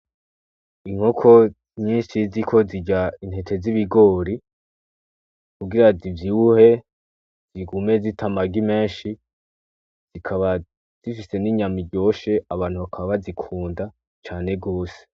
Inkoko nyinshi ziriko zirya intete z'ibigori kugira zivyibuhe, zigume zita amagi menshi, zikaba zifise n'inyama iryoshe, abantu bakaba bazikunda cane gose.